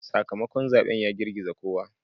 Sakamakon zaben ya girgiza kowa.